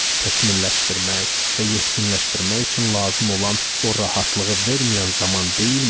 Təkmilləşdirmək və yetkinləşdirmək üçün lazım olan o rahatlığı verməyən zaman deyilmi?